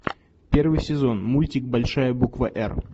первый сезон мультик большая буква р